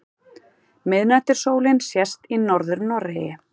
Miðnætursólin sést í Norður-Noregi.